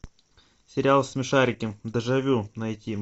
сериал смешарики дежавю найти